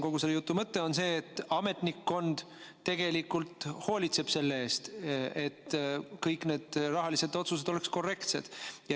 Kogu selle jutu mõte on see: tegelikult hoolitseb ametnikkond selle eest, et kõik rahalised otsused oleksid korrektsed.